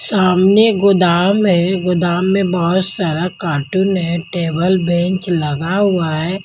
सामने गोदाम है गोदाम में बहुत सारा कार्टून है टेबल बेंच लगा हुआ है।